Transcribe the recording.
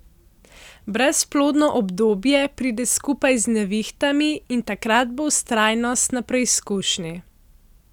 Brezplodno obdobje pride skupaj z nevihtami in takrat bo vztrajnost na preizkušnji.